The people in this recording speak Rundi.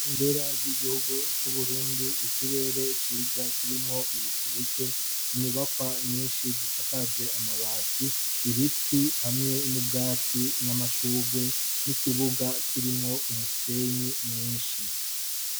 ibendera ry'igihugu c'uburundi ikirere ciza kirimwo ibicubike inyubakwa nyinshi zisakaje amabati ibiti hamwe n'ubwatsi n'amashugwe n'ikibuga kirimwo umusenyi mwinshi